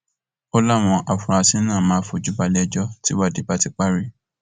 ó láwọn afurasí náà máa fojú balẹẹjọ tìwádìí bá ti parí